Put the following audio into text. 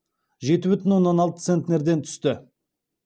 жеті бүтін оннан алты центнерден түсті